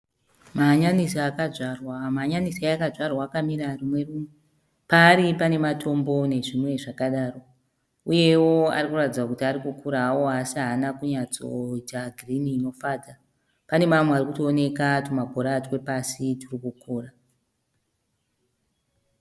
Mahanyanisi akadzvarwa. Mahanyanisi akadzvarwa akamira rumwe runwe. Paari pana matombo nezvimwe zvakadaro. Uyewo arikuratidza kuti arikukura hawo así haana kunyasto ita girinhi inofadza. Pane mamwe arikutooneka tuma bhora twepasi turi kukura.